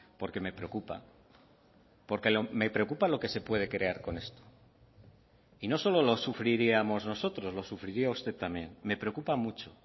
porque me preocupa porque me preocupa lo que se puede crear con esto y no solo lo sufriríamos nosotros lo sufriría usted también me preocupa mucho